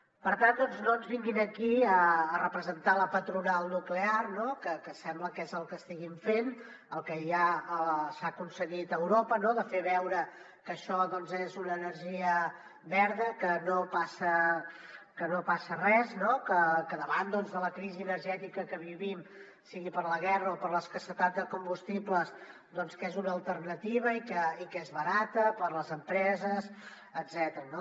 per tant doncs no ens vinguin aquí a representar la patronal nuclear que sembla que és el que estiguin fent el que ja s’ha aconseguit a europa no de fer veure que això doncs és una energia verda que no passa res que davant de la crisi energètica que vivim sigui per la guerra o per l’escassetat de combustibles que és una alternativa i que és barata per a les empreses etcètera